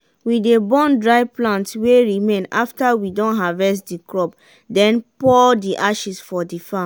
we dey burn dry plant wey remain afta we don harvest de crop den pour de ashes for de farm.